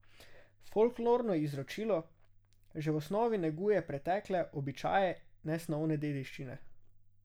Folklorno izročilo že v osnovi neguje pretekle običaje nesnovne dediščine.